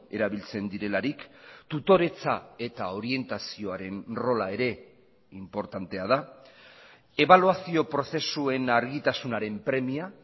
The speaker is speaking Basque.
erabiltzen direlarik tutoretza eta orientazioaren rola ere inportantea da ebaluazio prozesuen argitasunaren premia